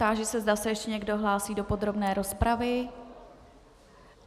Táži se, zda se ještě někdo hlásí do podrobné rozpravy?